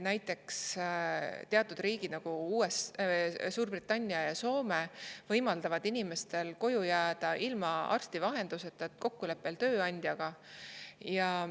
Näiteks, teatud riigid, nagu Suurbritannia ja Soome, võimaldavad inimestel koju jääda ilma arsti vahenduseta, kokkuleppel tööandjaga.